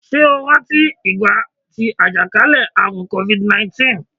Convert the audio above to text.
Ṣé o rántí ìgbà tí àjàkálẹ̀ àrùn kofid niintìn?